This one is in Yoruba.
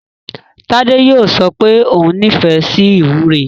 Tádé yóò sọ pé ó nífẹ̀ẹ́ sí ìwúre.